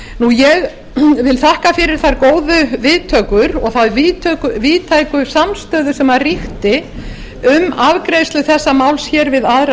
ég vil þakka fyrir þær góðu viðtökur og þá víðtæku samstöðu sem ríkti um afgreiðslu þessa máls við aðra